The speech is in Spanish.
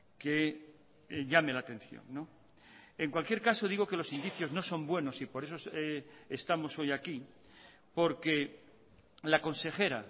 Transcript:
que llame la atención en cualquier caso digo que los indicios no son buenos y por eso estamos hoy aquí porque la consejera